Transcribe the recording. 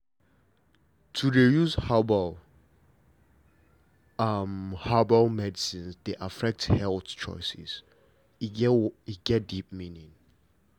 to dey use herbal herbal medicines dey affect health choices e get deep meaning